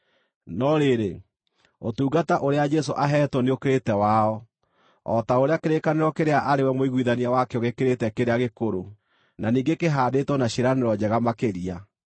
No rĩrĩ, ũtungata ũrĩa Jesũ aheetwo nĩũkĩrĩte wao, o ta ũrĩa kĩrĩkanĩro kĩrĩa arĩ we mũiguithania wakĩo gĩkĩrĩte kĩrĩa gĩkũrũ, na ningĩ kĩhaandĩtwo na ciĩranĩro njega makĩria.